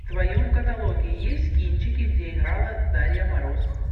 в твоем каталоге есть кинчики где играла дарья мороз